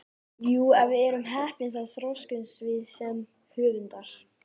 Jú, ef við erum heppin þá þroskumst við sem höfundar.